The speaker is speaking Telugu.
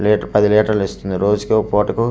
లీటర్ పది లీటర్లు ఇస్తుంది రోజుకి పుటకు రోజు కాదు.